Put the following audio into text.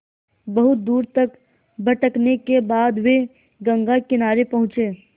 बहुत दूर तक भटकने के बाद वे गंगा किनारे पहुँचे